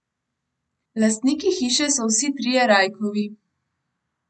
Lastniki hiše so vsi trije Rajkovi.